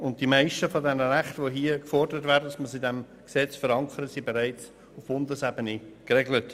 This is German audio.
Und die meisten der Rechte, von denen gefordert wird, dass sie im Gesetz verankert werden, sind bereits auf Bundesebene geregelt.